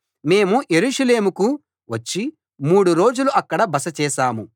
మేము యెరూషలేముకు వచ్చి మూడు రోజులు అక్కడ బస చేశాం